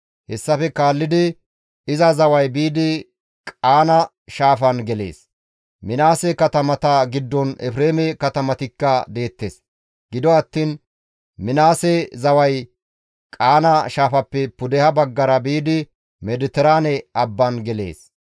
Hessafe kaallidi iza zaway biidi Qaana shaafaan gelees. Minaase katamata giddon Efreeme katamatikka deettes; Gido attiin Minaase zaway Qaana shaafappe pudeha baggara biidi Mediteraane abban gelees.